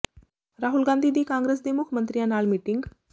ਰਾਹੁਲ ਗਾਂਧੀ ਦੀ ਕਾਂਗਰਸ ਦੇ ਮੁੱਖ ਮੰਤਰੀਆਂ ਨਾਲ ਮੀਟਿੰਗ